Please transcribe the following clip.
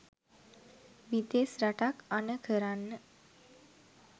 විදෙස් රටක් අණ කරන්න